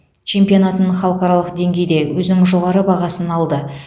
чемпионатын халықаралық деңгейде өзінің жоғары бағасын алды